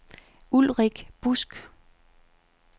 Ulrik Busk